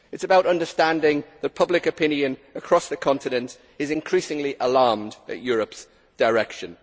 It is about understanding that public opinion across the continent is increasingly alarmed at Europe's direction.